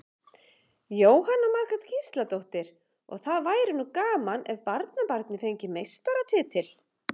Jóhanna Margrét Gísladóttir: Og það væri nú gaman ef barnabarnið fengi meistaratitil?